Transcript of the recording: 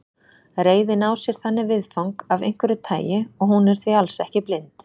Reiðin á sér þannig viðfang af einhverju tagi og hún er því alls ekki blind.